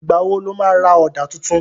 Ìgbà wo lo má ra Ọ̀dà tuntun?